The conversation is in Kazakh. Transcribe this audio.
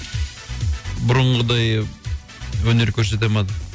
бұрынғыдай өнер көрсете алмады